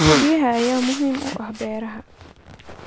Biyaha ayaa muhiim u ah beeraha.